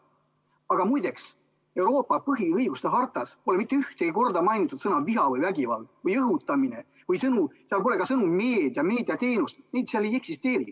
Aga muideks, Euroopa põhiõiguste hartas pole mitte ühtegi korda mainitud sõna "viha" või "vägivald" või "õhutamine" või sõnu, seal pole ka sõnu "meedia" või "meediateenus", neid seal ei eksisteeri.